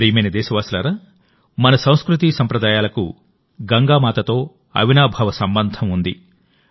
నా ప్రియమైన దేశవాసులారా మన సంస్కృతీ సంప్రదాయాలకు గంగామాతతో అవినాభావ సంబంధం ఉంది